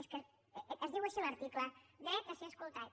és que es diu així l’article dret a ser escoltat